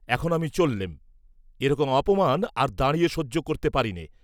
এখন আমি চল্লেম, এ রকম অপমান আর দাঁড়িয়ে সহ্য করতে পারিনে।